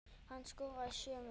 Hann skoraði sjö mörk.